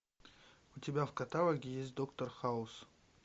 у тебя в каталоге есть доктор хаус